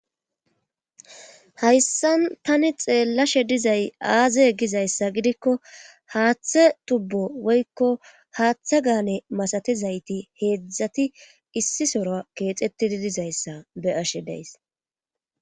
Hayssan tani xeellashe dizay aaze gizayssa gidikko haaththe tubbo woykko haaththe gaane masatizayti heedzdzati issi sora keexettidi dizayssa be ashe deys